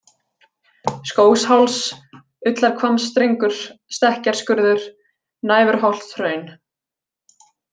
Skógsháls, Ullarhvammsstrengur, Stekkjarskurður, Næfurholtshraun